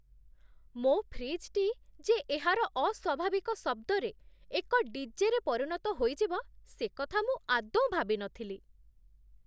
ମୋ ଫ୍ରିଜ୍‌ଟି ଯେ ଏହାର ଅସ୍ୱାଭାବିକ ଶବ୍ଦରେ ଏକ ଡି.ଜେ.ରେ ପରିଣତ ହୋଇଯିବ ସେକଥା ମୁଁ ଆଦୌ ଭାବିନଥିଲି!